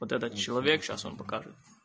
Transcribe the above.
вот этот человек сейчас он покажет